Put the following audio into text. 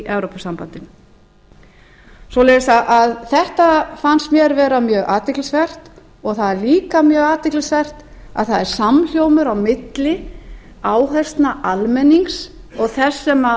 evrópusambandinu svoleiðis að þetta fannst mér mjög athyglisvert og það er líka mjög athyglisvert að það er samhljómur á milli áherslna almennings og